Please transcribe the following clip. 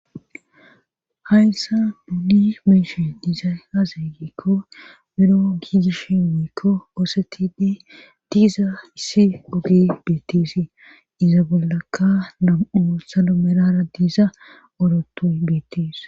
hayssa nuuni beyishen izay azeegikko biro giigishe mikko oosetinne diiza issi oge beettisi iza bollaka nam7u salo merara diiza orotoy beettis